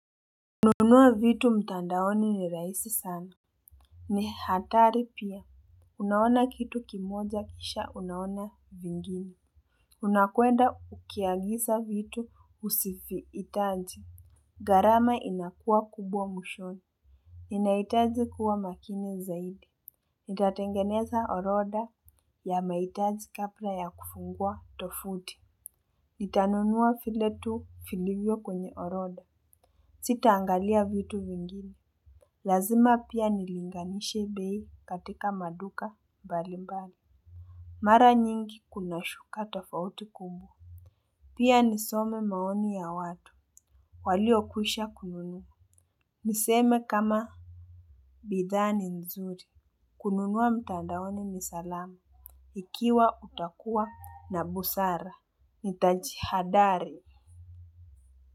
Nunua vitu mtandaoni ni raisi sana. Ni hatari pia. Unaona kitu kimoja kisha unaona vingine. Unakwenda ukiagisa vitu usivi hitaji. Gharama inakuwa kubwa mwishoni. Inaitaji kuwa makini zaidi. Nitatengeneza orodha ya maitaji kapra ya kufungua tofuti. Nitanunua viletu vilivyo kwenye orodha. Sita angalia vitu vingini. Lazima pia nilinganishe bei katika maduka mbali mbali. Mara nyingi kuna shuka tofauti kumbu. Pia nisome maoni ya watu. Walio kwisha kununua. Niseme kama bidhaa ni nzuri. Kununua mtandaoni nisalama. Ikiwa utakuwa na busara. Nitajihadhari.